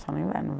Só no inverno.